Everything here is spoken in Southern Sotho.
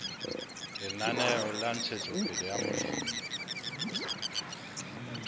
lenaneo la ntshetsopele ya molemi